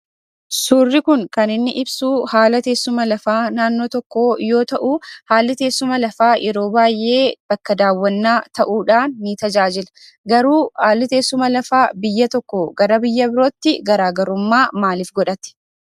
Suurri kun kan inni ibsuu haala teessuma lafaa naannoo tokkoo yoo ta'uu , haalli teessuma lafaa yeroo baay'ee bakka daawwannaa ta'uudhaan ni tajaajila. Garuu haalli teessuma lafaa biyya tokkoo gara biyya birootti garaagarummaa maaliif godhate?